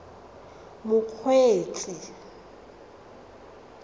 mokgweetsi